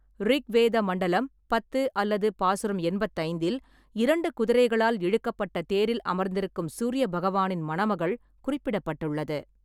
ரிக்வேத மண்டலம் பத்து அல்லது பாசுரம் எண்பத்தி ஐந்தில், இரண்டு குதிரைகளால் இழுக்கப்பட்ட தேரில் அமர்ந்திருக்கும் சூரிய பகவானின் மணமகள் குறிப்பிடப்பட்டுள்ளது.